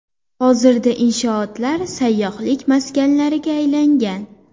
Hozirda inshootlar sayyohlik maskanlariga aylangan.